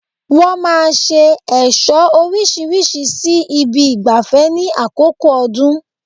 Wọ́n máa ṣe ẹ̀ṣọ́ orísirísi sí ibi ìgbafẹ́ ní àkókò ọdún